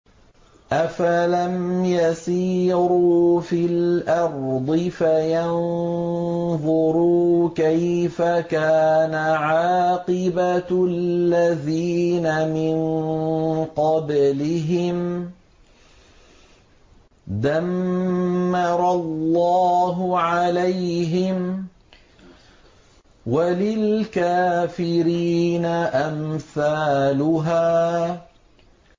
۞ أَفَلَمْ يَسِيرُوا فِي الْأَرْضِ فَيَنظُرُوا كَيْفَ كَانَ عَاقِبَةُ الَّذِينَ مِن قَبْلِهِمْ ۚ دَمَّرَ اللَّهُ عَلَيْهِمْ ۖ وَلِلْكَافِرِينَ أَمْثَالُهَا